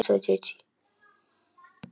Segðu móður þinni að opna ekki fyrir neinum.